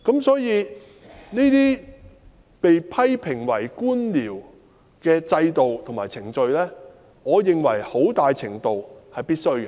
所以，這些被批評為官僚的制度和程序，我認為很大程度上是必需的。